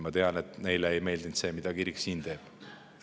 Ma tean, et neile ei meeldinud see, mida kirik siin teeb.